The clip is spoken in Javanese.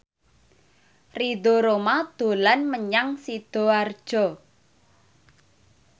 Ridho Roma dolan menyang Sidoarjo